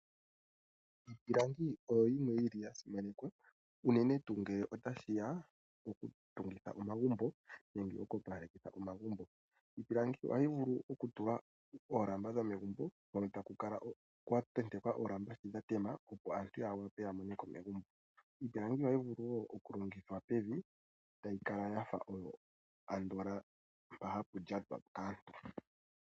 Iipilangi oyo yimwe ya simanekwa, unene tuu ngele otashi ya pokutungitha omagumbo nenge oku opaleka omagumbo. Iipilangi ohayi vulu okutulwa oolamba dhomegumbo, ano kwa tentekwa oolamba, opo aantu ya mone ko megumbo. Iipilangi ohayi vulu wo okulongithwa pevi, tayi kala oyo iilyatelo mpoka ta pu lyatwa kaantu.